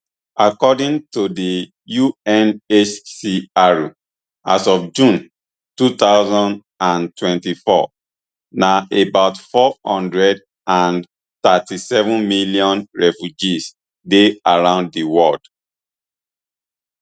according to di unhcr as of june two thousand and twenty-four na about four hundred and thirty-seven million refugees dey around di world